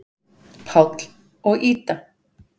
Páll og Ída.